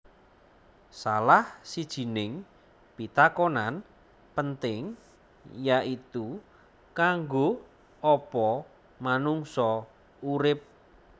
Salah sijining pitakonan penting yaitu kanggo opo manungsa urip